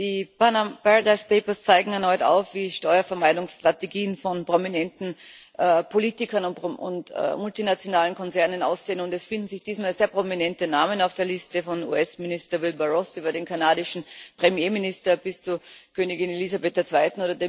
Die Paradise Papers zeigen erneut auf, wie Steuervermeidungsstrategien von prominenten Politikern und multinationalen Konzernen aussehen, und es finden sich diesmal sehr prominente Namen auf der Liste, vom US Minister Wilbur Ross über den kanadischen Premierminister bis zu Königin Elisabeth II.